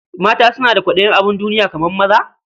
Mata suna da kwaɗayin abin duniya kamar maza?